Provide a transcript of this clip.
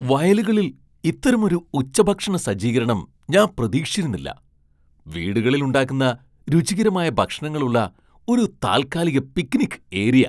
വയലുകളിൽ ഇത്തരമൊരു ഉച്ചഭക്ഷണ സജ്ജീകരണം ഞാൻ പ്രതീക്ഷിച്ചിരുന്നില്ല, വീടുകളിൽ ഉണ്ടാക്കുന്ന രുചികരമായ ഭക്ഷണങ്ങളുള്ള ഒരു താൽക്കാലിക പിക്നിക് ഏരിയ!